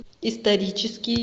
исторический